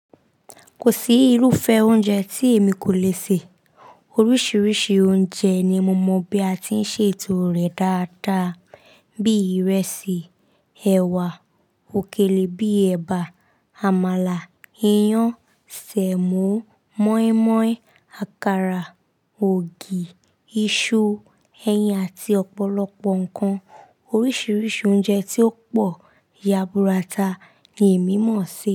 Kò sí irúfẹ́ oúnjẹ tí èmi kò le sè. Oríṣiríṣi oúnjẹ ni mo mọ̀ bí a ti ń ṣe ètò rẹ̀ dáadáa, bíi ìrẹsì, ẹwà, òkèlè, bíi ẹ̀bà, àmàlà, iyán, sèmò, mọ́ímọ́í, àkàrà, ògì, iṣu, ẹyin àti ọ̀pọ̀lọpọ̀ ǹkan. Oríṣiríṣi oúnjẹ tí ó pọ̀ yàbúrátà ni èmi mọ̀ se.